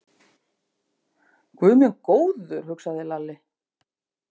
Guð minn góður, hugsaði Lalli.